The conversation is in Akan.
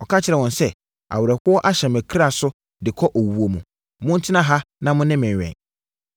Ɔka kyerɛɛ wɔn sɛ, “Awerɛhoɔ ahyɛ me kra so de kɔ owuo mu. Montena ha na mo ne me nwɛn.”